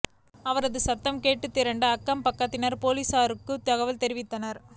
அவரது சத்தம் கேட்டு திரண்ட அக்கம்பக்கத்தினர் போலீசாருக்கு தகவல் தெரிவித்தனர்